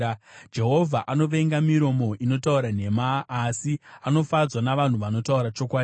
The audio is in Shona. Jehovha anovenga miromo inotaura nhema, asi anofadzwa navanhu vanotaura chokwadi.